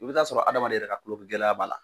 I bi taa sɔrɔ adamaden yɛrɛ ka kulonkun gɛlɛya b'a la.